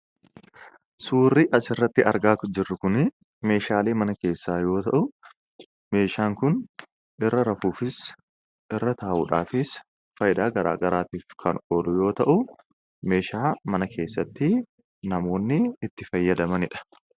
Suurri asirratti argaa jirru kuni meeshaalee mana keessaa yoo ta'u, meeshaan kun irra rafuufis, irra taa'uudhaafis faayidaa garaa garaatiif kan oolu yoo ta'u, meeshaa mana keessatti namoonni itti fayyadamanidha.